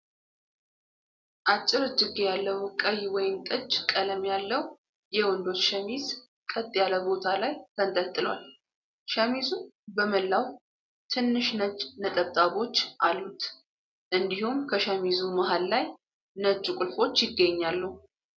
አጭር እጅጌ ያለው ቀይ ወይንጠጅ ቀለም ያለው የወንዶች ሸሚዝ ቀጥ ያለ ቦታ ላይ ተንጠልጥሏል። ሸሚዙ በመላው ትንሽ ነጭ ነጠብጣቦች አሉት፤ እንዲሁም ከሸሚዙ መሃል ላይ ነጭ ቁልፎች ይገኛሉ።